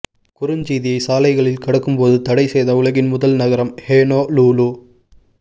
குறுஞ்செய்தியை சாலைகளில் கடக்கும்போது தடை செய்த உலகின் முதல் நகரம் ஹொனோலுலு